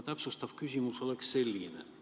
Täpsustav küsimus on selline.